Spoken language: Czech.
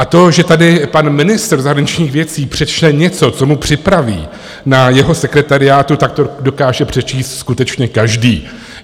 A to, že tady pan ministr zahraničních věcí přečte něco, co mu připraví na jeho sekretariátu, tak to dokáže přečíst skutečně každý.